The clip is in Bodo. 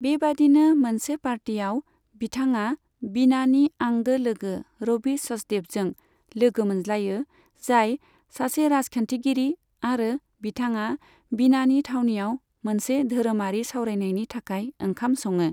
बेबादिनो मोनसे पार्टीआव, बिथाङा बीनानि आंगो लोगो रबि सचदेबजों लोगो मोनज्लायो, जाय सासे राजखान्थिगिरि आरो बिथाङा बीनानि थावनियाव मोनसे धोरोमारि सावरायनायनि थाखाय ओंखाम सङो।